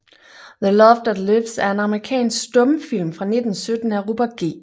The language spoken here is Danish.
The Love That Lives er en amerikansk stumfilm fra 1917 af Robert G